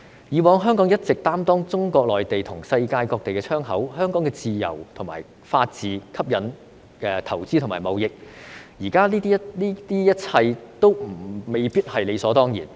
以往香港一直擔當中國內地和世界各地的窗口，香港的自由和法治吸引投資和貿易，現在這一切都未必是理所當然。